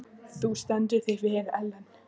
Þú stendur þig vel, Ellen!